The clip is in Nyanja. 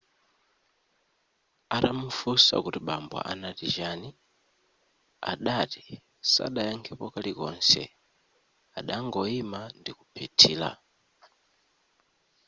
atamufunsa kuti bambo anati chani adati sadayakhepo kalikonse adangoima ndikuphethira